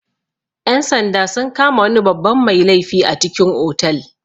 Ƴan-sanda sun kama wani babban mai laifi a cikin otal.